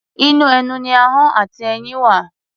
Inú ẹnu ni ahọ́n àti eyín wà.